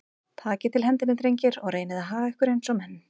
Takið til hendinni, drengir, og reynið að haga ykkur eins og menn.